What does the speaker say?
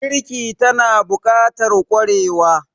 Girki tana bukatar kwarewa